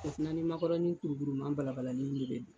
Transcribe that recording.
O fana ni makɔrɔni kurukuruma balabalalen ne bɛ